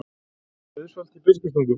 Auðsholti í Biskupstungum.